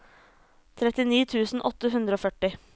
trettini tusen åtte hundre og førti